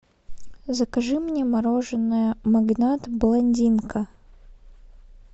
закажи мне мороженое магнат блондинка